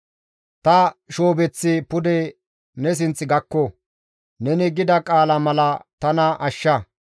Ta shoobeththi pude ne sinth gakko; neni gida qaala mala tana ashsha.